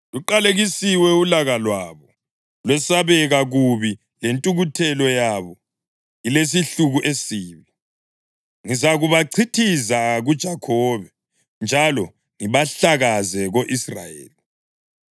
Luqalekisiwe ulaka lwabo, lwesabeka kubi, lentukuthelo yabo, ilesihluku esibi! Ngizakubachithiza kuJakhobe, njalo ngibahlakaze ko-Israyeli.